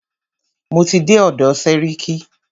Mo ti dé ọ̀dọ̀ sẹ́ríkí.